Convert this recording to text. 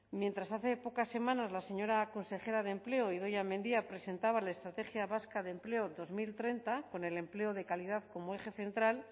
mientras hace pocas semanas la señora consejera de empleo idoia mendia presentaba la estrategia vasca de empleo dos mil treinta con el empleo de calidad como eje central